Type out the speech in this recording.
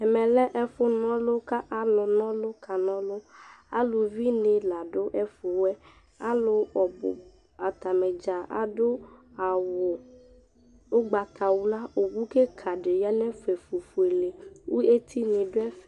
ɛmɛlɛ ɛfʊnɔlʊ kalʊnɔlʊnɩ kanɔlʊ ʊlʊvɩnɩ ladʊɛfʊɛ alʊanɩ adʊ ʊgbatawla owʊ kɩkafʊélédɩ yanɛfɛ kʊ étɩnɩ yanɛfɛ